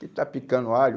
Que está picando alho?